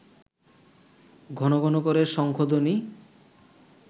ঘন করে শঙ্খধ্বনি